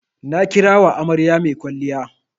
Na kira wa amarya mai kwalliya.